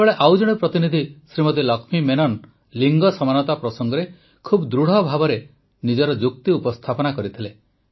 ସେତେବେଳେ ଅନ୍ୟ ଜଣେ ପ୍ରତିନିଧି ଶ୍ରୀମତୀ ଲକ୍ଷ୍ମୀ ମେନନ ଲିଙ୍ଗ ସମାନତା ପ୍ରସଙ୍ଗରେ ଖୁବ୍ ଦୃଢ଼ଭାବେ ନିଜର ଯୁକ୍ତି ଉପସ୍ଥାପନ କରିଥିଲେ